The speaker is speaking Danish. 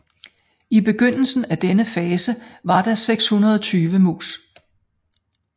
I begyndelsen af denne fase var der 620 mus